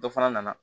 Dɔ fana nana